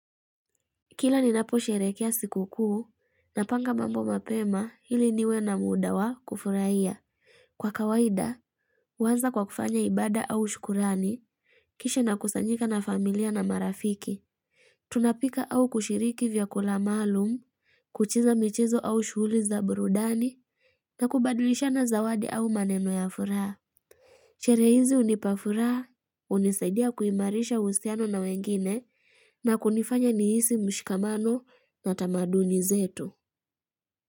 Kila ni napo sherekea sikuku na panga mambo mapema hili niwe na mudawa kufurahia. Kwa kawaida, huanza kwa kufanya ibada au shukurani, kisha na kusanyika na familia na marafiki. Tunapika au kushiriki vyakula malum, kucheza michezo au shughuliza burudani, na kubadilisha na zawadi au maneno ya furaha. Sherehe hizi unipafuraha, unisaidia kuimarisha uhusiano na wengine na kunifanya nihisi mshikamano na tamaduni zetu.